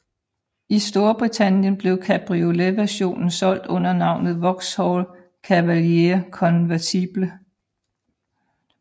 I Storbritannien blev cabrioletversionen solgt under navnet Vauxhall Cavalier Convertible